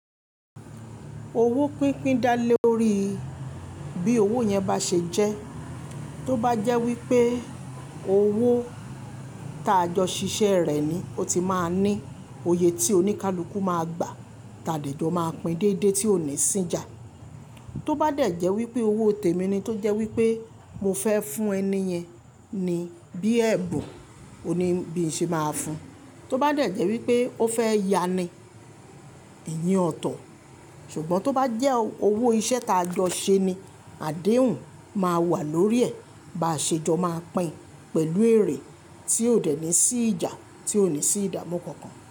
Owó pínpín dá lé lórí bí owó yẹn bá ṣe jẹ́. Tó bá jẹ́ wípé owó ta jọ ṣiṣẹ́ rẹ̀ ni, ó ti máa ń ní òye tí oníkálukú máa gbà, tà de jọ máa pín déédéé tí ò ní sí ìjà. Tó bá dẹ̀ jẹ́ wípé owó tèmi ni, tó jẹ́ wípé mo fẹ́ fún ẹniyen ni bí ẹ̀bùn, òní bí ṣe máa fún. Tó bá dẹ̀ jẹ́ wípé ó fẹ́ ya ni, ìyen ọ̀tọ̀. Ṣùgbọ́n tó bá jẹ́ owó iṣẹ́ ta jọ ṣe ni, àdéhùn máa wà lórí ẹ̀, bàá ṣe jọ máa pín pẹ̀lú èrè tí ò dẹ̀ ní sí ìjà, tí ò ní sí ìdámu kankan.